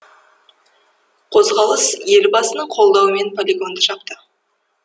қозғалыс елбасының қолдауымен полигонды жапты